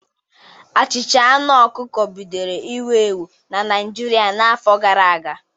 Achịcha aṅụ ọkụkọ bidoro iwu ewu na Naịjirịa n'afọ gara aga.